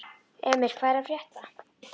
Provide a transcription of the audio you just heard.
Emir, hvað er að frétta?